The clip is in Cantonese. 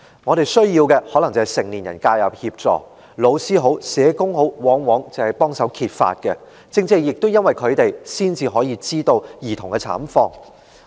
他們需要的可能是成年人介入協助，而老師或社工往往是協助揭發的人，亦正正因為他們，我們才能知悉兒童的慘況。